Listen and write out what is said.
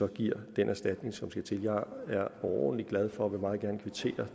giver den erstatning som skal til jeg er overordentlig glad for og vil meget gerne kvittere